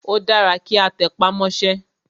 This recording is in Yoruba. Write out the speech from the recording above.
Ó dára kí a tẹpá mọ́sẹ́.